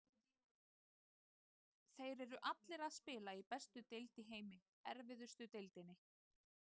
Þeir eru allir að spila í bestu deild í heimi, erfiðustu deildinni.